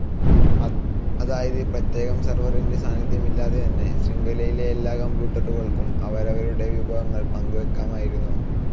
അതായത് പ്രത്യേകം സെർവറിന്റെ സാന്നിദ്ധ്യമില്ലാതെതന്നെ ശൃംഖലയിലെ എല്ലാ കമ്പ്യൂട്ടറുകൾക്കും അവരവരുടെ വിഭവങ്ങൾ പങ്കുവെക്കാമായിരുന്നു.